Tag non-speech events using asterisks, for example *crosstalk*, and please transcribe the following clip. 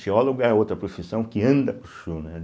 Geólogo é outra profissão que anda, *unintelligible* né?